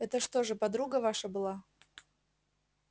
это что же подруга ваша была